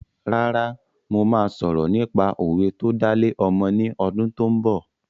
Rárá mo má sọ̀rọ̀ nípa òwe tó dá lé ọmọ ni ọdún tó ń bọ̀